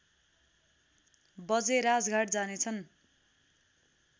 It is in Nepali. बजे राजघाट जानेछन्